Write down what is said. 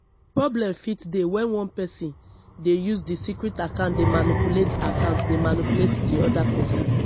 problem fit dey when one person de use di secret account dey manipulate account dey manipulate di oda person